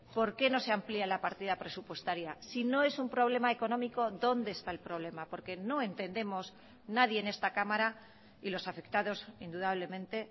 por qué no se amplía la partida presupuestaria si no es un problema económico dónde está el problema porque no entendemos nadie en esta cámara y los afectados indudablemente